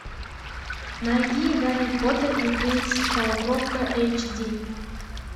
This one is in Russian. найди гарри поттер и принц полукровка эйч ди